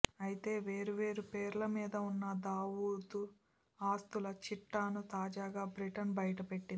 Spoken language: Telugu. అయితే వేరు వేరు పేర్ల మీద ఉన్న దావూద్ ఆస్తుల చిట్టాను తాజాగా బ్రిటన్ బయటపెట్టింది